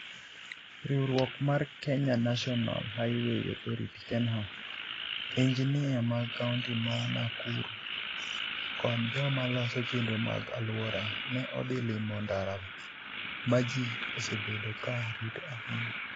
Riwruok mar Kenya National Highway Authority (KeNHA), injinia mag kaunti mar Nakuru kod joma loso chenro mag alwora, ne odhi limo ndara ma ji osebedo ka rito ahinya.